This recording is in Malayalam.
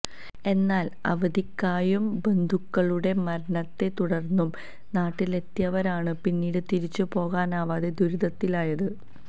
എന്നാല് അവധിക്കായും ബന്ധുക്കളുടെ മരണത്തെ തുടര്ന്നും നാട്ടിലെത്തിയവരാണ് പിന്നീട് തിരിച്ചു പോകാനാവാതെ ദുരിതത്തിലായത്